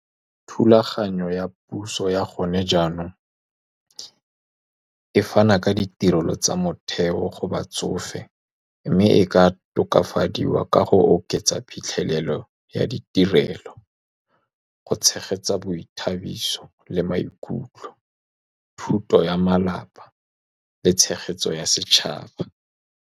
Thulaganyo ya puso ya gone jaanong e fana ka ditirelo tsa motheo go batsofe, mme e ka tokafadiwa ka go oketsa phitlhelelo ya ditirelo, go tshegetsa boithabiso le maikutlo, thuto ya malapa le tshegetso ya setšhaba.